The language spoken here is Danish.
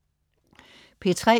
P3: